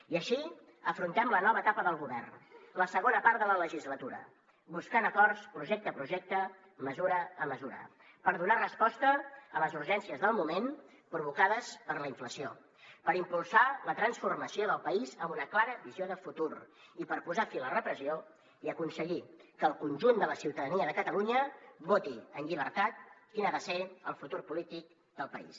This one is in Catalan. i així afrontem la nova etapa del govern la segona part de la legislatura buscant acords projecte a projecte mesura a mesura per donar resposta a les urgències del moment provocades per la inflació per impulsar la transformació del país amb una clara visió de futur i per posar fi a la repressió i aconseguir que el conjunt de la ciutadania de catalunya voti en llibertat quin ha de ser el futur polític del país